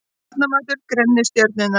Barnamatur grennir stjörnurnar